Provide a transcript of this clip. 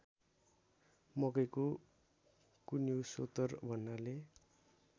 मकैको कुन्युसोत्तर भन्नाले